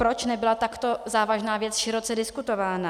Proč nebyla takto závažná věc široce diskutována?